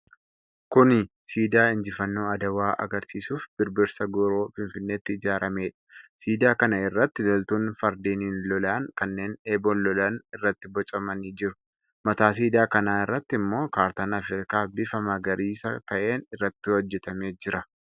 Kuni siidaa injifannoo Adwaa agarsiisuuf Birbirsa Gooroo, Finfinneetti ijaaramedha. Siidaa kana irratti loltuun fardeenin lolan, kanneen eboon lolan irratti bocamanii jiru. Mataa siidaa kanaa irratti ammoo kaartaan Afrikaa bifa magariisa ta'een irratti hojjatamee jira.